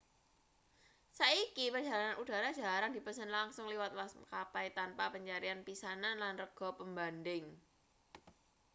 saiki perjalanan udara jarang dipesen langsung liwat maskapai tanpa pencarian pisanan lan rega pembanding